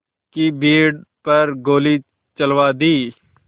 की भीड़ पर गोली चलवा दी